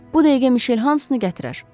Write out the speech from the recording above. Bu dəqiqə Mişel hamısını gətirər.